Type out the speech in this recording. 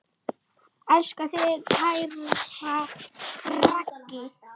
Elska þig, kæra Raggý.